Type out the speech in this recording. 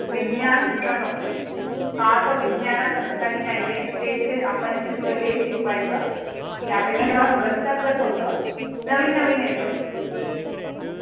विज्ञान सुद्धा नको आतां विज्ञान असं काही नाही ये तेच तेच आपण शिकलो तेच शिकवाय चं त्या पेक्षा गणिता तच होतं. नवीन नवीन येतो